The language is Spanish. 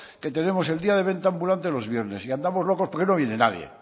que tenemos el día de venta ambulante los viernes y andamos locos porque no viene nadie